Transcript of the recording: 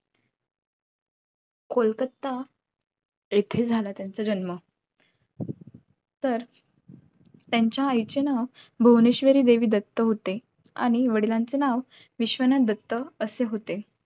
कोलकत्ता येथे झाला त्यांचा जन्म तर त्यांच्या आईचे नाव भुवनेश्वरी देवी दत्त होते आणि वडिलांचे नाव नाव विश्वनाथ दत्त असे होते